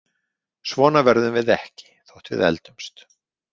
Svona verðum við ekki þótt við eldumst.